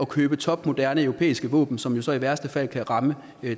købe topmoderne europæiske våben som jo så i værste fald kan ramme